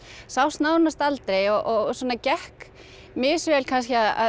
sást nánast aldrei og svona gekk mis vel kannski að